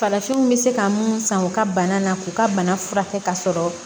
Farafinw bɛ se ka mun san u ka bana na k'u ka bana furakɛ ka sɔrɔ